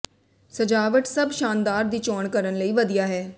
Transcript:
ਸਜਾਵਟ ਸਭ ਸ਼ਾਨਦਾਰ ਦੀ ਚੋਣ ਕਰਨ ਲਈ ਵਧੀਆ ਹੈ